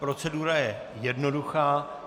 Procedura je jednoduchá.